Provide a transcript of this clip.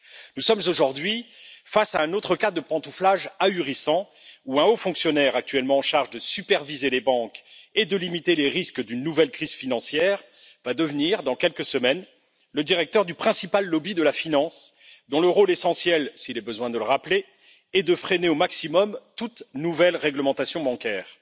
Aujourd'hui, nous sommes face à un autre cas de pantouflage ahurissant où un haut fonctionnaire, actuellement en charge de superviser les banques et de limiter les risques d'une nouvelle crise financière, va devenir, dans quelques semaines, le directeur du principal lobby de la finance, dont le rôle essentiel s'il est besoin de le rappeler est de freiner au maximum toute nouvelle réglementation bancaire.